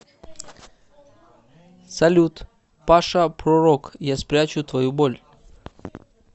салют паша пророк я спрячу твою боль